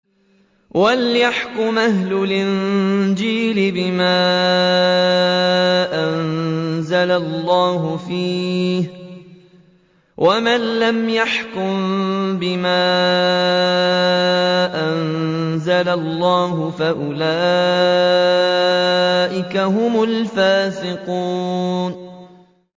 وَلْيَحْكُمْ أَهْلُ الْإِنجِيلِ بِمَا أَنزَلَ اللَّهُ فِيهِ ۚ وَمَن لَّمْ يَحْكُم بِمَا أَنزَلَ اللَّهُ فَأُولَٰئِكَ هُمُ الْفَاسِقُونَ